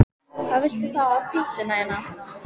Aðeins var opið tvo tíma í senn tvisvar í viku.